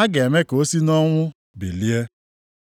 a ga-eme ka o site nʼọnwụ bilie.